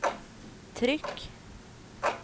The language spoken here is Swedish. tryck